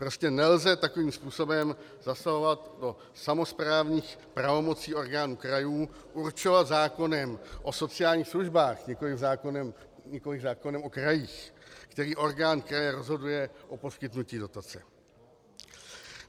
Prostě nelze takovým způsobem zasahovat do samosprávních pravomocí orgánů krajů, určovat zákonem o sociálních službách, nikoliv zákonem o krajích, který orgán kraje rozhoduje o poskytnutí dotace.